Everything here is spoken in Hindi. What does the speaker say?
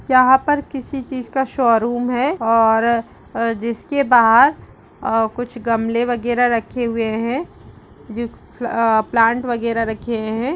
यहां पर किसी चीज का शोरूम है और अ जिसके बाहर अ कुछ घमले वगैरह रखे हुए हैं। जो उम् प्लांट वगैरह रखे हुए हैं।